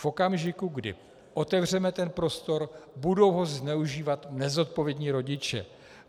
V okamžiku, kdy otevřeme ten prostor, budou ho zneužívat nezodpovědní rodiče.